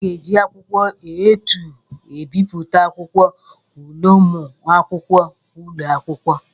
Aga eji akwụkwọ A2 ebipụta akwụkwọ ule ụmụakwụkwọ ụlọ akwụkwọ.